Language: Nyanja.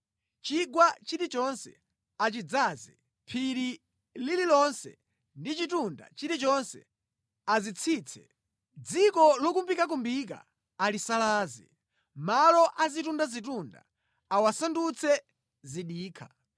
Chigwa chilichonse achidzaze. Phiri lililonse ndi chitunda chilichonse azitsitse; Dziko lokumbikakumbika alisalaze, malo azitundazitunda awasandutse zidikha.